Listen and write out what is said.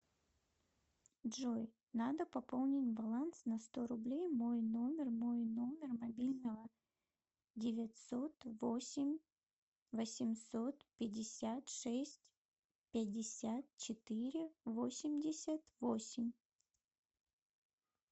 джой надо пополнить баланс на сто рублей мой номер мой номер мобильного девятьсот восемь восемьсот пятьдесят шесть пятьдесят четыре восемьдесят восемь